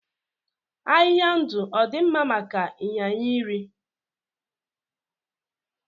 Ahịhịa ndụ ọ dị mma maka ịnyịnya iri?